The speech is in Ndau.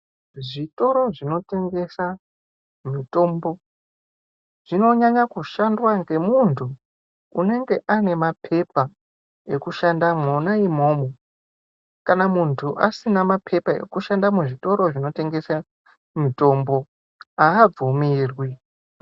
Zvitoro zvinotengesa mitombo zvinonyanya kushandwa ngemuntu unenge ane mapepa ekushanda mwona imwomwo. Kana muntu asina mapepa ekushanda muzvitoro zvinotengese mitombo abvumirwi.